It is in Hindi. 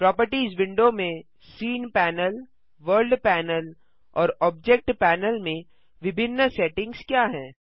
प्रोपर्टिज विंडो में सीन पैनल वर्ल्ड पैनल और ऑब्जेक्ट पैनल में विभिन्न सेटिंग्स क्या हैं